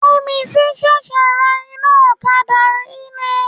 Yẹ́misí ṣẹ̀ṣẹ̀ ra iná ọ̀kadà yìí ni.